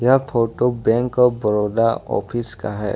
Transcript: यह photo bank of Baroda office का है।